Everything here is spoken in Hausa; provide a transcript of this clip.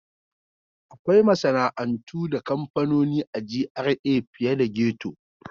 Akwai masana'antu da kamfanoni a GRA fiye da ghetto.